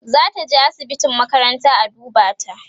zataje asibitin makaranta a duba ta